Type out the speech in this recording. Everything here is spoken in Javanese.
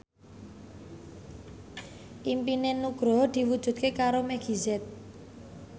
impine Nugroho diwujudke karo Meggie Z